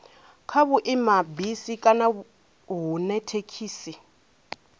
kha vhuimabisi kana hune thekhisi